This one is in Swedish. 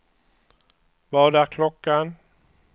Vad är klockan